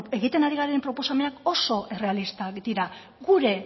egiten ari garen proposamenak oso errealistak dira gure